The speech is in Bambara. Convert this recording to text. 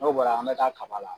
N'o bɔra an bɛ taa kaba la.